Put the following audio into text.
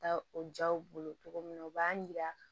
Taa o jaw bolo cogo min na u b'a yira